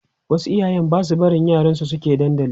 wasu iyayen Basu barin yaran su suke dandali